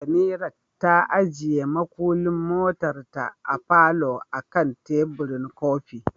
Samirat ta ajiye mukullin motarta a falo akan teburin kofi.